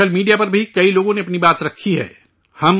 social media پر بھی کئی لوگوں نے اپنی بات رکھی ہے